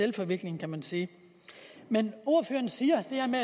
en forvikling kan man sige ordføreren siger